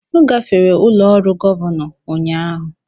M gafere ụlọ ọrụ Gọvanọ ụnyahụ.